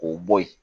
K'o bɔ yen